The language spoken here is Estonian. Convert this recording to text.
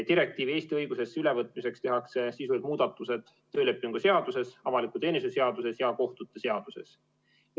Direktiivi Eesti õigusesse ülevõtmiseks tehakse sisulised muudatused töölepingu seaduses, avaliku teenistuse seaduses ja kohtute seaduses.